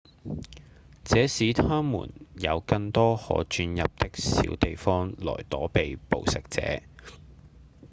這使牠們有更多可鑽入的小地方來躲避捕食者